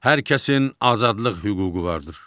Hər kəsin azadlıq hüququ vardır.